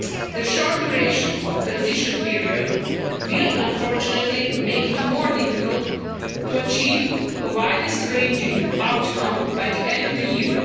The short duration of the transition period will, unfortunately, make it more difficult to achieve the widest-ranging outcome by the end of the year.